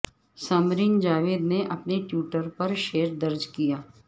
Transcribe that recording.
ثمرین جاوید نے اپنے ٹویٹر پر شعر درج کیا